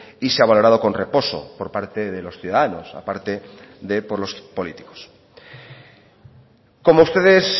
y se ha valorado con reposo por parte de los ciudadanos a parte de por los políticos como ustedes